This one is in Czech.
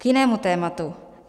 K jinému tématu.